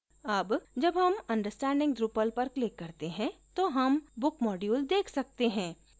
अब जब हम understanding drupal पर click करते हैं तो हम book module देख सकते हैं